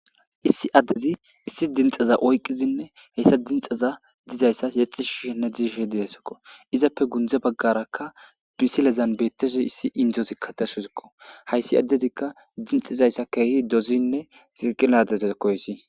Issi addezi issi dinxaza oyqqizinne heyssa dinxaza dizayssa yexi shiishenne diishe didesokko izappe gundze baggarakka bisilezan beetteshe issi indzozikka dashuzikko hayssi addezikka dinxizayssa keehi dozinne ziqiladeze koysi.